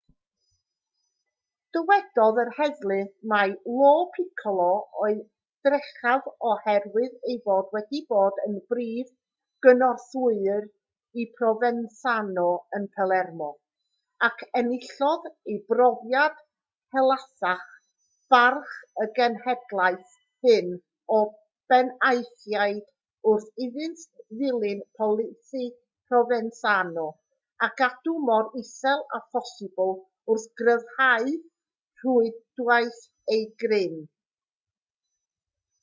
dywedodd yr heddlu mai lo piccolo oedd drechaf oherwydd ei fod wedi bod yn brif gynorthwywr i provenzano yn palermo ac enillodd ei brofiad helaethach barch y genhedlaeth hŷn o benaethiaid wrth iddynt ddilyn polisi provenzano o gadw mor isel â phosibl wrth gryfhau rhwydwaith eu grym